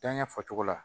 Danɲɛ fɔcogo la